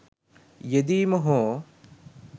යෙදීම හෝ